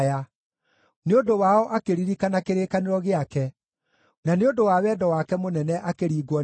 nĩ ũndũ wao akĩririkana kĩrĩkanĩro gĩake, na nĩ ũndũ wa wendo wake mũnene akĩringwo nĩ tha.